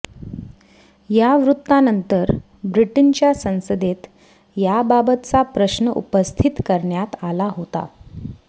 या वृत्तानंतर ब्रिटनच्या संसदेत याबाबतचा प्रश्न उपस्थित करण्यात आला होता